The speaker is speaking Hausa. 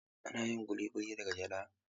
Ana yin ƙuli ƙuli daga gyada.